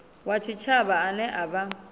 wa tshitshavha ane a vha